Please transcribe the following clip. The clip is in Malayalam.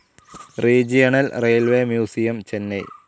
regional railways museum, Chennai